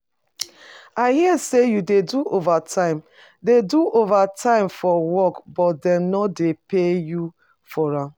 I hear say you dey do overtime dey do overtime for work but dem no dey pay you for am